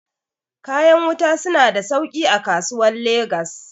kayan wuta suna da sauki a kasuwar legas